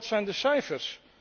Wat zijn de cijfers?